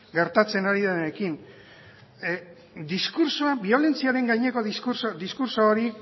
gertatzen ari denarekin diskurtsoa biolentziaren gaineko diskurtso hori